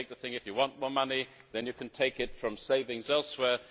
We take the line that if you want more money then you can take it from savings elsewhere.